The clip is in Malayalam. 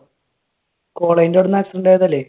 college ന്റെ അവിടുന്ന് accident ആയതല്ലേ?